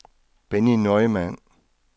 Benny Neumann